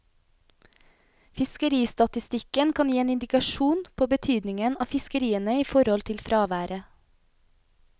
Fiskeristatistikken kan gi en indikasjon på betydningen av fiskeriene i forhold til fraværet.